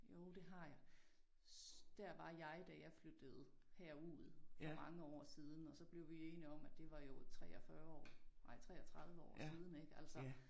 Jo det har jeg. Dér var jeg da jeg flyttede herud for mange år siden og så blev vi enige om at det var jo 43 år nej 33 år siden ik altså